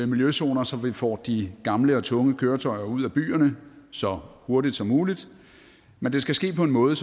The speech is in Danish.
miljøzoner så vi får de gamle og tunge køretøjer ud af byerne så hurtigt som muligt men det skal ske på en måde